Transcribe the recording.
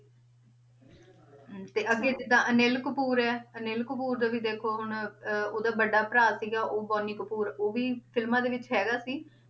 ਹਮ ਤੇ ਅੱਗੇ ਜਿੱਦਾਂ ਅਨਿਲ ਕਪੂਰ ਹੈ, ਅਨਿਲ ਕਪੂਰ ਦਾ ਵੀ ਦੇਖੋ ਹੁਣ ਅਹ ਉਹਦਾ ਵੱਡਾ ਭਰਾ ਸੀਗਾ, ਉਹ ਬੋਨੀ ਕਪੂਰ ਉਹ ਵੀ ਫਿਲਮਾਂ ਦੇ ਵਿੱਚ ਹੈਗਾ ਸੀ,